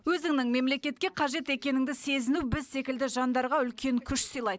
өзіңнің мемлекетке қажет екеніңді сезіну біз секілді жандарға үлкен күш сыйлайды